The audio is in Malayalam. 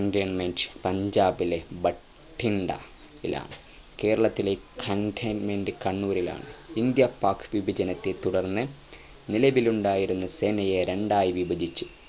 cantonment പഞ്ചാബിലെ ഭട്ടിണ്ട യിലാണ് കേരളത്തിലെ cantonment കണ്ണൂരിലാണ് ഇന്ത്യ പാക് വിഭജനത്തെ തുറന്ന് നിലവിലുണ്ടായിരുന്ന സേനയെ രണ്ടായി വിഭചിച്ചു